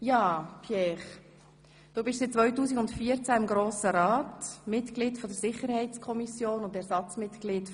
» Ja, Pierre, du bist seit 2014 im Grossen Rat, Mitglied der Sicherheitskommission und Ersatzmitglied